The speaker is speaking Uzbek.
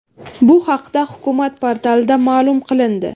Bu haqda hukumat portalida ma’lum qilindi .